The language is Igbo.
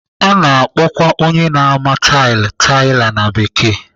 A na-akpọkwa onye na-ama tailu "tiler" na Bekee.